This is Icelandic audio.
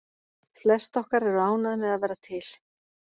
Flest okkar eru ánægð með að vera til.